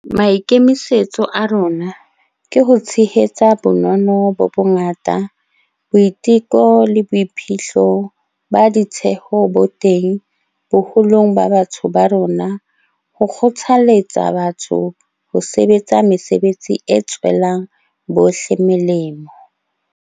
Maikemisetso a rona ke ho tshehetsa bonono bo bongata, boiteko le boiphihlo ba ditheho bo teng boholong ba batho ba rona ho kgothaletsa batho ho sebetsa mesebetsi e tswelang bohle melemo.